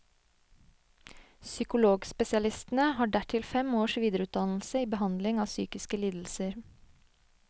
Psykologspesialistene har dertil fem års videreutdannelse i behandling av psykiske lidelser.